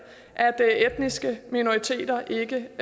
at etniske minoriteter ikke